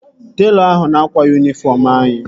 Telọ ahụ ka na-akwa yunifọm anyị